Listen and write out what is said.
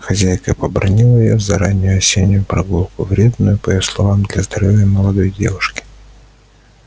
хозяйка побранила её за раннюю осеннюю прогулку вредную по её словам для здоровья молодой девушки